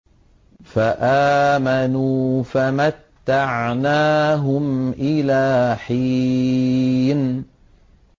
فَآمَنُوا فَمَتَّعْنَاهُمْ إِلَىٰ حِينٍ